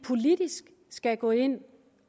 skal gå ind